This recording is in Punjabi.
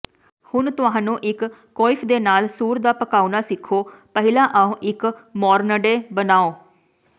ਹੁਣ ਤੁਹਾਨੂੰ ਇੱਕ ਕੁਇਫ ਦੇ ਨਾਲ ਸੂਰ ਦਾ ਪਕਾਉਣਾ ਸਿੱਖੋ ਪਹਿਲਾਂ ਆਓ ਇੱਕ ਮੋਰਨਡੇ ਬਣਾਉ